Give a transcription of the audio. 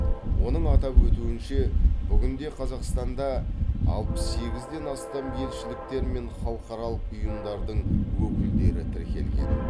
оның атап өтуінше бүгінде қазақстанда алпыс сегізден астам елшіліктер мен халықаралық ұйымдардың өкілдіктері тіркелген